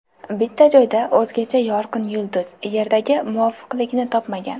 Bitta joyda o‘zgacha yorqin yulduz Yerdagi muvofiqligini topmagan.